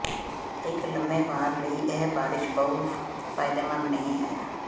ਇੱਕ ਲੰਮੇ ਵਾਰ ਲਈ ਇਹ ਬਾਰਸ਼ ਪਾਉ ਫਾਇਦੇਮੰਦ ਨਹੀ ਹੈ